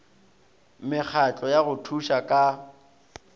mekgatlo ya go thuša ka